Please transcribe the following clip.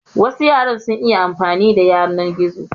Wasu yaran sun iya amfani da yanar gizo.